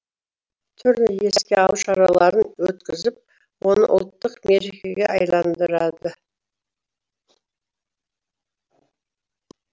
түрлі еске алу шараларын өткізіп оны ұлттық мерекеге айналдырады